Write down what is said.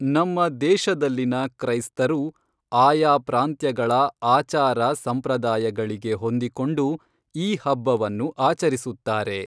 ನಮ್ಮ ದೇಶದಲ್ಲಿನ ಕ್ರೈಸ್ತರು ಆಯಾ ಪ್ರಾಂತ್ಯಗಳ ಆಚಾರ ಸಂಪ್ರದಾಯಗಳಿಗೆ ಹೊಂದಿಕೊಂಡು ಈ ಹಬ್ಬವನ್ನು ಆಚರಿಸುತ್ತಾರೆ